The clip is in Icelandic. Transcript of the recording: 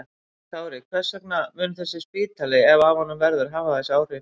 Kári, hvers vegna mun þessi spítali, ef af honum verður, hafa þessi áhrif?